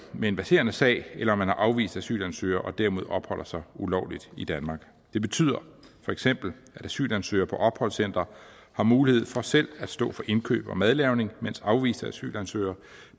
med en verserende sag eller om vedkommende er afvist asylsøger og dermed opholder sig ulovligt i danmark det betyder feks at asylansøgere på opholdscentre har mulighed for selv at stå for indkøb og madlavning mens afviste asylansøgere